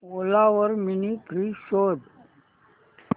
ओला वर mini fridge शोध